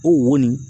O wo nin